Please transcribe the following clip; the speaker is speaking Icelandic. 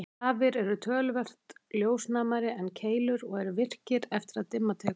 Stafir eru töluvert ljósnæmari en keilur og eru virkir eftir að dimma tekur.